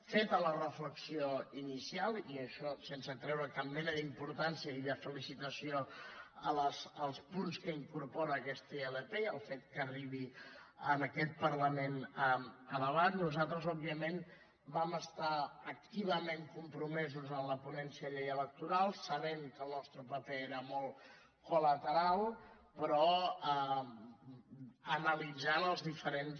feta la reflexió inicial i això sense treure cap mena d’importància i de felicitació als punts que incorpora aquesta ilp i al fet que arribi en aquest parlament a debat nosaltres òbviament vam estar activament compromesos en la ponència de la llei electoral sabent que el nostre paper era molt col·lateral però analitzant els diferents